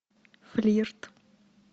флирт